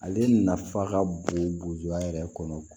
Ale nafa ka bon burujuya yɛrɛ kɔnɔ